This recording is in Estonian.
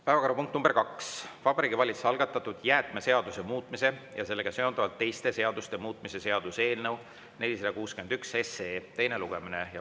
Päevakorrapunkt nr 2: Vabariigi Valitsuse algatatud jäätmeseaduse muutmise ja sellega seonduvalt teiste seaduste muutmise seaduse eelnõu 461 teine lugemine.